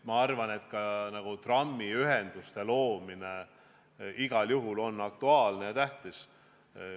Ma arvan, et trammiühenduse loomine on igal juhul aktuaalne ja tähtis.